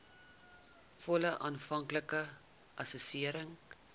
volle aanvanklike assessering